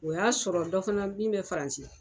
O y'a sɔrɔ dɔ fana min bɛ Faransi